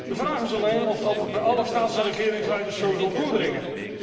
De vraag is alleen of dat bij alle staats en regeringsleiders zo zal doordringen.